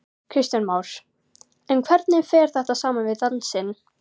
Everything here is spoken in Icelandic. Kristján Már: En hvernig fer þetta saman við dansinn?